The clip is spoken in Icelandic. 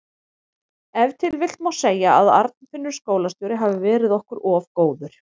Ef til vill má segja að Arnfinnur skólastjóri hafi verið okkur of góður.